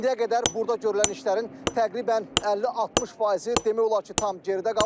İndiyə qədər burda görülən işlərin təqribən 50-60 faizi demək olar ki, tam geridə qalıb.